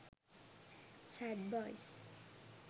sad boys